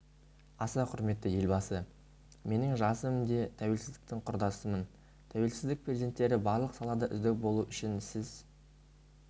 аса құрметті елбасы менің жасым те тәуелсіздіктің құрдасымын тәуелсіздік перзенттері барлық салада үздік болу үшін сіз